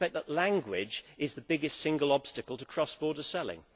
I suspect that language is the biggest single obstacle to cross border selling.